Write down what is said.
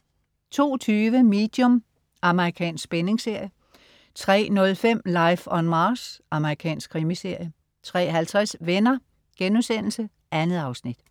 02.20 Medium. Amerikansk spændingsserie 03.05 Life on Mars. Amerikansk krimiserie 03.50 Venner.* 2 afsnit